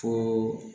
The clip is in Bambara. Fo